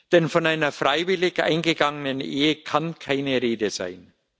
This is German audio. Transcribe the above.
Denn von einer freiwillig eingegangenen Ehe kann keine Rede sein.